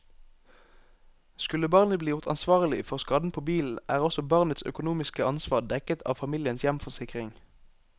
Skulle barnet bli gjort ansvarlig for skaden på bilen, er også barnets økonomiske ansvar dekket av familiens hjemforsikring.